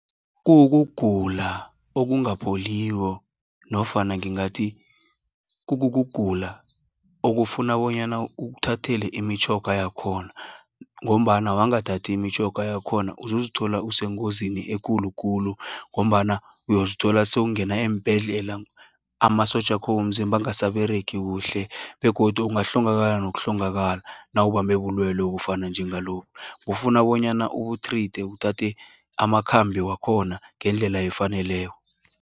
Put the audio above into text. Kuwukugula okungapholiko, nofana ngingathi kukukugula okufuna bonyana ukthathele imitjhoga yakhona, ngombana wangathathi imitjhoga yakhona, uzozithola usengozini ekulukhulu, ngombana uyozithola sowungenela eembhedlela, amasotjakho womzimba angasaberegi kuhle, begodu ungahlongakala nokuhlongakala, nawubambe bulwelwe obufana njengalobu. Kufuna bonyana ubu-treate uthathe amakhambi wakhona, ngendlela efaneleko.